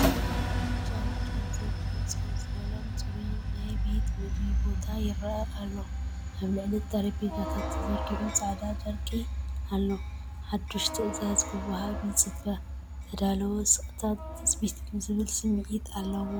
ጫውጫው ዘይብሉ ፀው ዝበለን ጽሩይን ናይ ቤት ምግቢ ቦታ ይረአ ኣሎ። ኣብ ልዕሊ እቲ ጠረጴዛታት ተዘርጊሑ ጻዕዳ ጨርቂ ጠረጴዛ ኣሎ፣ ሓድሽ ትእዛዝ ክወሃብ ይጽበ። ዝተዳለወ ስቕታን ትጽቢትን ዝብል ስምዒት ኣለዎ።